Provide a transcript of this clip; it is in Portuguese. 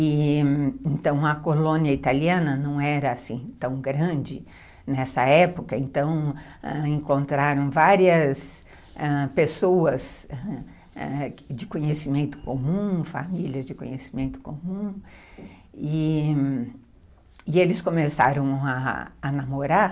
E... Então, a colônia italiana não era assim tão grande nessa época, então encontraram várias ãh, pessoas de conhecimento comum e famílias de conhecimento comum, e eles começaram a a namorar.